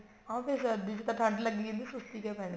ਹਾਂ ਫੇਰ ਸਰਦੀ ਚ ਤਾਂ ਠੰਡ ਲੱਗੀ ਜਾਂਦੀ ਹੈ ਸੁਸਤੀ ਕਿਉਂ ਪੈਣੀ